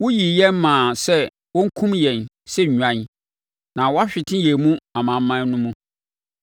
Woyii yɛn maa sɛ wɔnkum yɛn sɛ nnwan na woahwete yɛn wɔ amanaman no mu.